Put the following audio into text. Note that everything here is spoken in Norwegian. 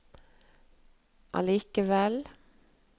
allikevel